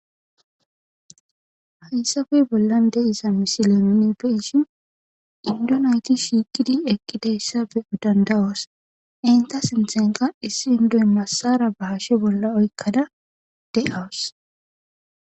Hayssappe bolan de'za mossile nuuni be'ishin tigire naythi shiiqidi eqidaysa be'anaas danda'oos entha sinthankka issi enddoy massara ba hashe bola oykadda de'awuss.